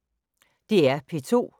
DR P2